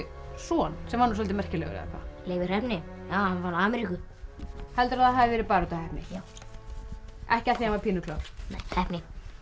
son sem var soldið merkilegur Leifur heppni hann fann Ameríku heldurðu að það hafi verið bara út af heppni já ekki af því hann var pínu klár nei heppni